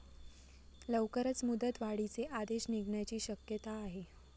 लवकरच मुदतवाढीचे आदेश निघण्याची शक्यता आहे.